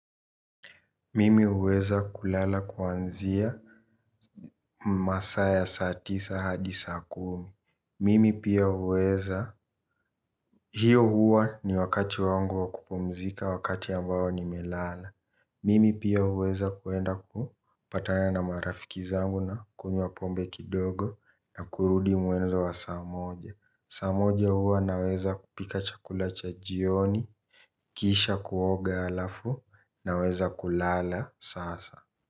Mimi huweza kulala kuanzia masaa ya saa tisa hadi saa kumi. Mimi pia huweza, hiyo huwa ni wakati wangu wa kupumzika wakati ambao ni melala. Mimi pia huweza kuenda ku patana na marafiki zangu na kunywa pombe kidogo na kurudi muenzo wa saamoja. Saa moja huwa naweza kupika chakula cha jioni, kisha kuoga alafu na weza kulala sasa.